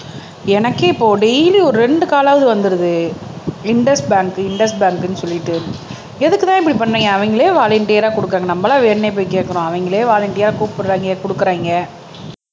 எனக்கே இப்போ டெய்லி ஒரு ரெண்டு காலாவது வந்துடுது பேங்க் பேங்க்ன்னு சொல்லிட்டு எதுக்குத்தான் இப்படி பண்ணீங்க அவங்களே வாலண்டீரா குடுக்குறாங்க நம்மளா வேணும்னே போய் கேட்கிறோம் அவங்களே வாலண்டீரா கூப்பிடுறாங்க குடுக்குறாங்க